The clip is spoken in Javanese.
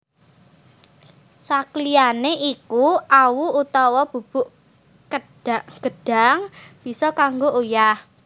Sakliyané iku awu utawa bubuk gedhang bisa kanggo uyah